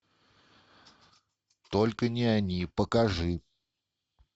только не они покажи